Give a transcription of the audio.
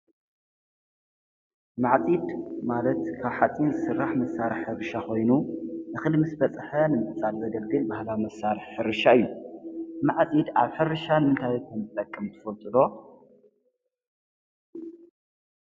መግቢ ነገራት ንምምሕዳርን ንምህናጽን ዝጥቀሙ ነገራት እዮም። ከም እንጨት፣ ብረት፣ ፕላስቲክን እምኒን ይካተቱ። መግቢ ነገራት ኣብ ሕይወት መዓልታዊ ጠቕሚ ዓቢ ኣላቶም?